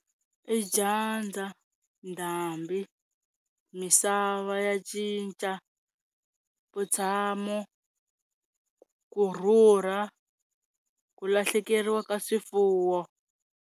I dyandza, ndhambi, misava ya cinca, vutshamo, ku rhurha, ku lahlekeriwa ka swifuwo.